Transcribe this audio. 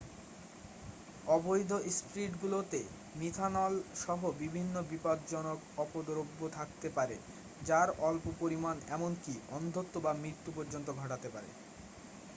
অবৈধ স্পিরিটগুলোতে মিথানল সহ বিভিন্ন বিপজ্জনক অপদ্রব্য থাকতে পারে যার অল্প পরিমান এমনকি অন্ধত্ব বা মৃত্যু পর্যন্ত ঘটাতে পারে